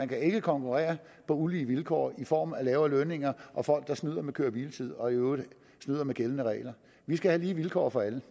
kan konkurrere på ulige vilkår i form af lavere lønninger og folk der snyder med køre og hviletid og i øvrigt snyder med gældende regler vi skal have lige vilkår for alle